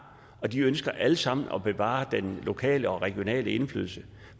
og de ønsker alle sammen at bevare den lokale og regionale indflydelse